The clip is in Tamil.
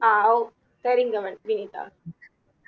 ஆஹ் சரிங்க வனி வினிதா